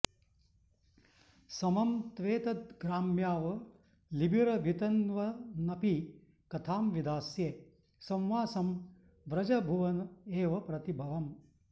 समं त्वेतद्ग्राम्यावलिभिरभितन्वन्नपि कथां विधास्ये संवासं व्रजभुवन एव प्रतिभवम्